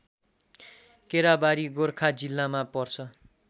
केराबारी गोर्खा जिल्लामा पर्छ